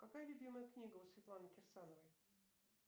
какая любимая книга у светланы кирсановой